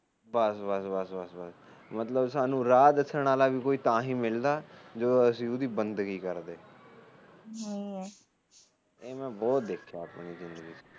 ਬਸ ਬਸ ਬਸ ਮਤਲਬ ਸਾਨੂੰ ਰਾਹ ਦੱਸਣ ਵਾਲਾ ਵੀ ਤਾਹੀ ਮਿਲਦਾ ਜੋ ਅਸੀ ਉਸਦੀ ਬੰਦਗੀ ਕਰਦੇ ਠੀਕ ਐ ਇਹ ਮੈ ਬਹੁਤ ਦੇਖਿਆ ਆਪਣੀ ਜਿੰਦਗੀ ਚ